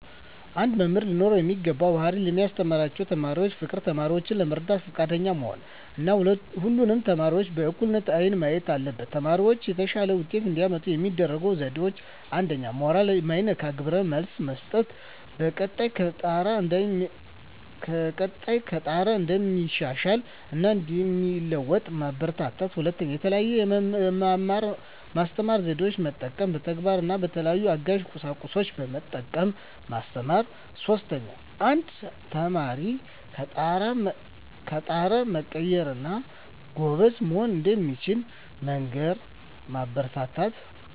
አንድ መምህር ሊኖረው የሚገባው ባህሪ ለሚያስተምራቸው ተማሪዎች ፍቅር፣ ተማሪዎችን ለመርዳት ፈቃደኛ መሆን እና ሁሉንም ተማሪዎች በእኩል አይን ማየት አለበት። ተማሪዎች የተሻለ ውጤት እንዲያመጡ የሚረዱ ዜዴዎች 1ኛ. ሞራል ማይነካ ግብረ መልስ መስጠት፣ በቀጣይ ከጣረ እንደሚሻሻል እና እንደሚለዎጡ ማበራታታት። 2ኛ. የተለየ የመማር ማስተማር ዜዴን መጠቀም፣ በተግባር እና በተለያዩ አጋዥ ቁሳቁሶችን በመጠቀም ማስተማር። 3ኛ. አንድ ተማሪ ከጣረ መቀየር እና ጎበዝ መሆን እንደሚችል መንገር እና ማበረታታት።